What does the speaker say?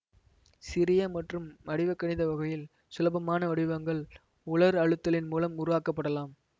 சிறிய மற்றும் வடிவகணித வகையில் சுலபமான வடிவங்கள் உலர் அழுத்தலின் மூலம் உருவாக்கப்படலாம்